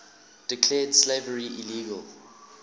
declared slavery illegal